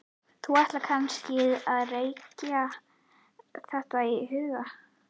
Þú ætlar kannski að reikna þetta í huganum?